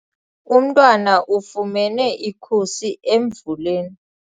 Umntwana ufumene ikhusi emvuleni.